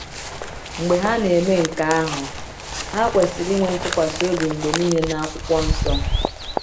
Mgbe ha na-eme nke ahụ, ha kwesịrị ịnwe ntụkwasị obi mgbe niile n’akwụkwọ nsọ.